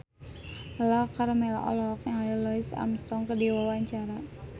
Lala Karmela olohok ningali Louis Armstrong keur diwawancara